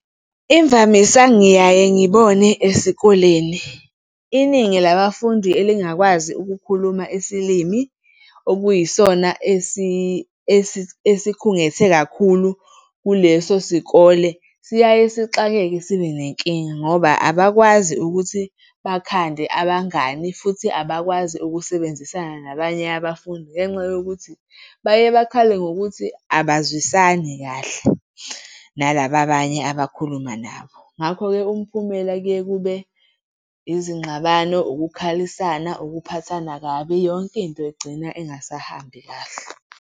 Imvamisa ngiyaye ngibone esikoleni. Iningi labafundi elingakwazi ukukhuluma esilimi okuyisona esikhungethe kakhulu kuleso sikole, siyaye sixakeke sibe nenkinga ngoba abakwazi ukuthi bakhande abangani futhi abakwazi ukusebenzisana nabanye abafundi ngenxa yokuthi baye bakhale ngokuthi abazwisani kahle nalaba abanye abakhuluma nabo. Ngakho-ke umphumela kuye kube izingxabano, ukukhalisana, ukuphathana kabi. Yonke into igcina ingasahambi kahle.